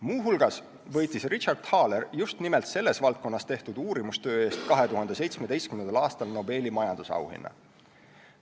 Muuhulgas võitis Richard Thaler just nimelt selles valdkonnas tehtud uurimustöö eest 2017. aastal Nobeli majandusauhinna.